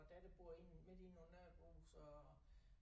Vor datter bor inde midt inde under Aarhus og